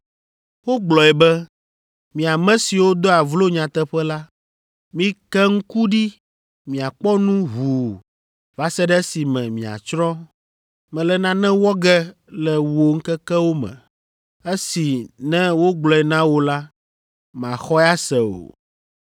Wogblɔe be, “ ‘Mi ame siwo doa vlo nyateƒe la, mike ŋku ɖi miakpɔ nu ʋuu va se ɖe esime miatsrɔ̃. Mele nane wɔ ge le wò ŋkekewo me esi ne wogblɔe na wò la màxɔe ase o.’ ”